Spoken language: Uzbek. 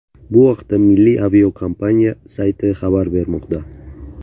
Bu haqda milliy aviakompaniya sayti xabar bermoqda .